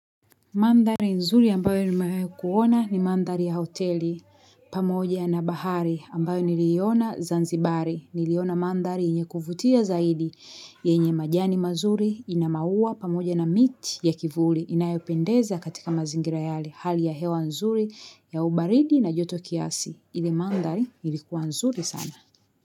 Mandhari nzuri ambayo nimawahi kuona ni mandhari ya hoteli pamoja na bahari ambayo niliona zanzibari niliona mandhari yenye kuvutia zaidi yenye majani mazuri ina maua pamoja na miti ya kivuli inayopendeza katika mazingira yale hali ya hewa nzuri ya ubaridi na joto kiasi ile mandhari ilikuwa nzuri sana.